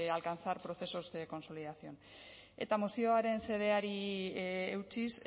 alcanzar procesos de consolidación eta mozioaren xedeari eutsiz